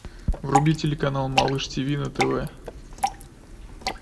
вруби телеканал малыш тиви на тв